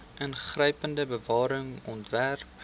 ingrypende bewaring ontwerp